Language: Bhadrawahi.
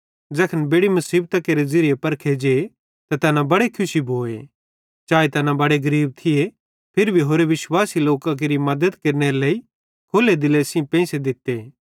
कि ज़ैखन बेड़ि मुसीबतां केरे ज़िरिये परखे जे त तैना बड़े खुशी भोए चाए तैना बड़े गरीब थिये फिरी भी होरि विश्वासी लोकां केरि मद्दत केरनेरे लेइ खुल्ले दिले सेइं पेइंसो दित्तो